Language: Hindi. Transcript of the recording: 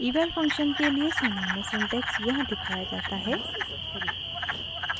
eval फंक्शन के लिए सामान्य सिंटेक्स यहाँ दिखाया जाता है